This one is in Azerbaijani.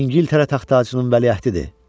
Və İngiltərə taxt-tacının vəliəhdidir.